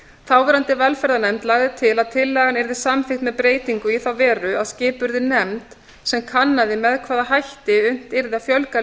þáverandi velferðarnefnd lagði til að tillagan yrði samþykkt með breytingu í þá veru að skipuð yrði nefnd sem kannaði með hvaða hætti unnt yrði að fjölga